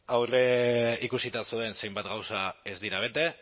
aurreikusita zuen zenbait gauza ez dira bete